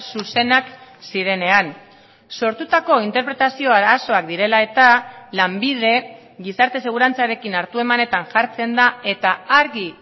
zuzenak zirenean sortutako interpretazio arazoak direla eta lanbide gizarte segurantzarekin hartuemanetan jartzen da eta argi